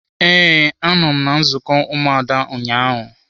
Ee, a nọ m na nzukọ ụmụada ụnyaahụ.